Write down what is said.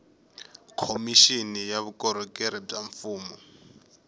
khomixini ya vukorhokeri bya mfumo